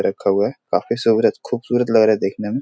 रखा हुआ है। काफी सुहरात खूबसूरत लग रहा है देखने में।